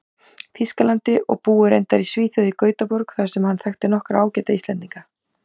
Þýskalandi, og búi reyndar í Svíþjóð, í Gautaborg, þar sem hann þekki nokkra Íslendinga ágætlega.